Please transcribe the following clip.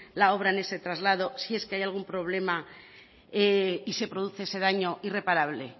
la obra en ese traslado si es que hay algún problema y se produce ese daño irreparable